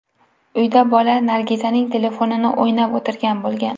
Uyda bola Nargizaning telefonini o‘ynab o‘tirgan bo‘lgan.